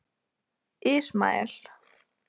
Ismael